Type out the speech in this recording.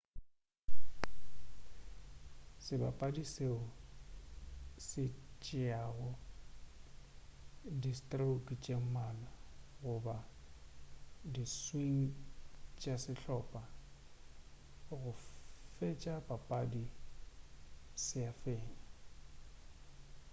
sebapadi seo se tšeago di stroke tše mmalwa goba di swing tša sehlopa go fetša papadi se a fenya